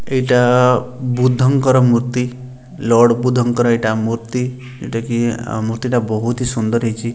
ଏଇଟା ବୁଦ୍ଧଙ୍କର ମୂର୍ତ୍ତି ଲର୍ଡ୍ ବୁଦ୍ଧଙ୍କର ଏଇଟା ମୂର୍ତ୍ତି ଏଟା କି ଆଉ ମୂର୍ତ୍ତିଟା ବୋହୁତ୍ ହି ସୁନ୍ଦର୍ ହେଇଚି।